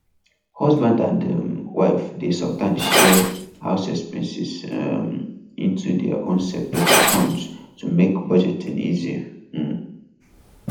husband and um wife dey sometimes share house expenses um into their own separate accounts to make budgeting easy um